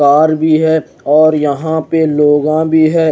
Car भी है और यहा पे लोगा भी है।